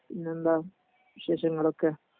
പിന്നെന്താ വിശേഷങ്ങളൊക്കെ